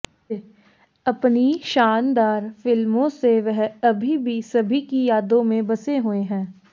अपनी शानदार फिल्मों से वह अभी भी सभी की यादों में बसे हुए हैं